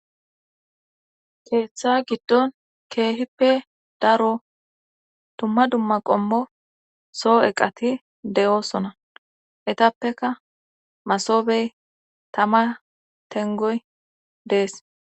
keeththa giddon keehippe daro dumma dumma qommo soo eqati de7oosona etappeka masobey tama tengoy dees